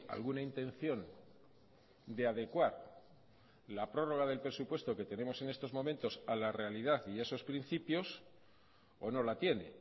alguna intención de adecuar la prórroga del presupuesto que tenemos en estos momentos a la realidad y a esos principios o no la tiene